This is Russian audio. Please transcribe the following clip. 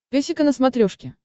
песика на смотрешке